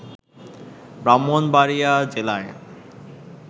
ব্রাহ্মণবাড়ীয়া জেলায়